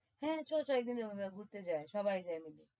হ্যাঁ চ চ একদিন যাবো ঘুরতে যায় সবাই যায়।